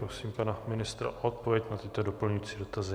Prosím pana ministra o odpověď na tyto doplňující dotazy.